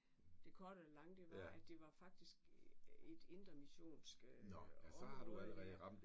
Det korte af det lange det var at det var faktisk sådan et indre missionsk område der